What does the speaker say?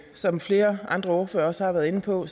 som flere andre ordførere også har været inde på